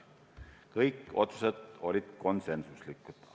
Kõik otsused olid konsensuslikud.